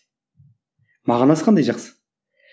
мағынасы қандай жақсы